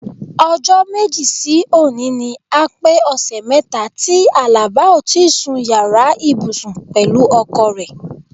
O̩jó̩ méjì sí òní ni a pé ò̩sè̩ mé̩ta tí Àlàbá o ti sun yàrá ìbùsùn pè̩lú o̩ko̩ rè̩.